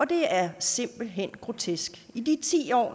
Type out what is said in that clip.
det er simpelt hen grotesk i de ti år